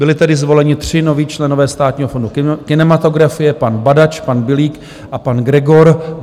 Byli tedy zvoleni tři noví členové Státního fondu kinematografie, pan Badač, pan Bilík a pan Gregor.